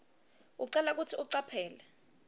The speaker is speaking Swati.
ucelwa kutsi ucaphele